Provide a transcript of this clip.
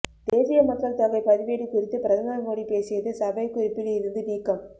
தேசிய மக்கள் தொகை பதிவேடு குறித்து பிரதமர் மோடி பேசியது சபை குறிப்பில் இருந்து நீக்கம்